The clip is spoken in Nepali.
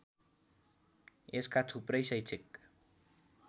यसका थुप्रै शैक्षिक